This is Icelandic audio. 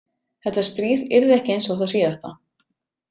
Þetta stríð yrði ekki eins og það síðasta.